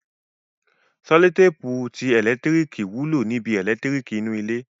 Sẹlotéèpù ti ẹ̀lẹ́tíríkì wúlò níbi? ẹ̀lẹ́tíríkì inú ilé